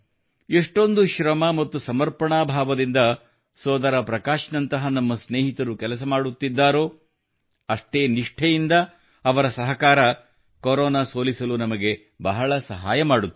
ಎಷ್ಟೊಂದು ಶ್ರಮ ಮತ್ತು ಸಮರ್ಪಣಾ ಭಾವದಿಂದ ಸೋದರ ಪ್ರಕಾಶ್ ನಂತಹ ನಮ್ಮ ಸ್ನೇಹಿತರು ಕೆಲಸ ಮಾಡುತ್ತಿದ್ದಾರೋ ಅಷ್ಟೇ ನಿಷ್ಠೆಯಿಂದ ಅವರ ಸಹಕಾರವು ಕೊರೋನಾ ಸೋಲಿಸಲು ನಮಗೆ ಬಹಳ ಸಹಾಯ ಮಾಡುತ್ತದೆ